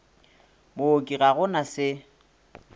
mooki ga go na se